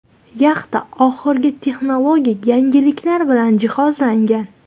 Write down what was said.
Yaxta oxirgi texnologik yangiliklar bilan jihozlangan.